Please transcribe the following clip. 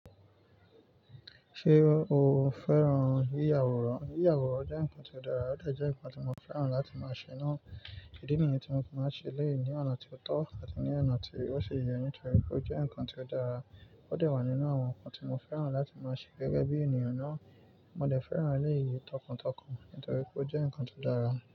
Ṣé o fẹ́ràn yíyà awòrán? Yíyà awòrán jẹ́ nǹkan ti odára, ó de jẹ́ nǹkan tí mo fẹ́ràn láti máa ṣe náà. Ìdí nìyi tí mo fi máa n ṣe elèyí ni ọ̀nà tí ó tó àti ní ọ̀nà tí ó ṣi yẹ nítorí pé ó jẹ́ nǹkan tio dára. Ó de wà nínú àwọn nǹkan tí mo fẹ́ràn láti máa ṣe gẹ́gẹ́ bí ènìyàn náà. Mo de fẹ́ràn elèyíi tọkàntọkàn nítorí pé ó jẹ́ nǹkan tó dára.